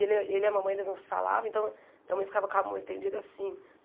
Ele ele e a mamãe eles não se falavam, então minha mãe ficava com a mão estendida assim.